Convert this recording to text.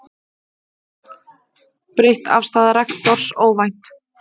Breytt afstaða rektors óvænt